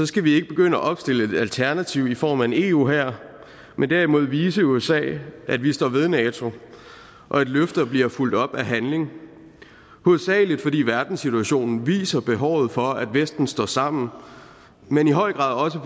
skal vi ikke begynde at opstille et alternativ i form af en eu hær men derimod vise usa at vi står ved nato og at løfter bliver fulgt op af handling hovedsagelig fordi verdenssituationen viser behovet for at vesten står sammen men i høj grad også